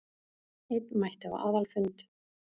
Einn mætti á aðalfund